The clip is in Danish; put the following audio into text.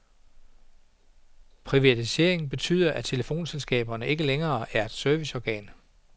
Privatiseringen betyder, at telefonselskaberne ikke længere er serviceorganer.